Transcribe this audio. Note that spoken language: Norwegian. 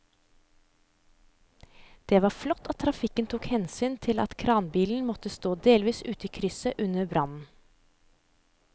Det var flott at trafikken tok hensyn til at kranbilen måtte stå delvis ute i krysset under brannen.